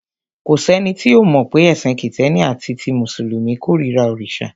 Kò sẹ́ni tí ò mọ̀ pé ẹ̀sìn Kìtẹ́ẹ́nì àti ti Mùsùlùmí kórira òrìṣà.